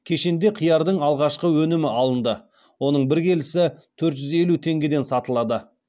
кешенде қиярдың алғашқы өнімі алынды оның бір келісі төрт жүз елу теңгеден сатылады